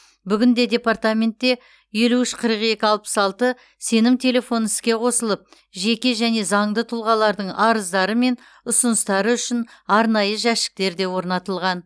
бүгінде департаментте елу үш қырық екі алпыс алты сенім телефоны іске қосылып жеке және заңды тұлғалардың арыздары мен ұсыныстары үшін арнайы жәшіктер де орнатылған